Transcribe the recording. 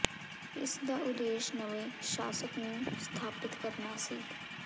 ਇਸ ਦਾ ਉਦੇਸ਼ ਨਵੇਂ ਸ਼ਾਸਕ ਨੂੰ ਸਥਾਪਿਤ ਕਰਨਾ ਸੀ